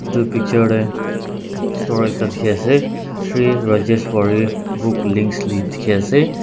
itu picture tey store ekta dikhi ase sri rajeshwari book links le teki asi.